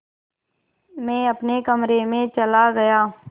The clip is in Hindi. मैं अपने कमरे में चला गया